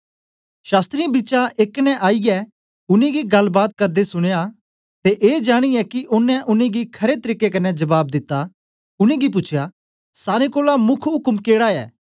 शास्त्रियें बिचा एक ने आईयै उनेंगी गलबात करदे सुनेया ते ए जानियें कि ओनें उनेंगी खरे तरीके कन्ने जबाब दिता उनेंगी पूछेया सारे कोलां मुख्य उक्म केड़ी ऐ